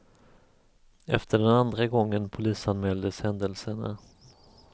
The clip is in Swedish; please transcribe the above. Efter den andra gången polisanmäldes händelserna.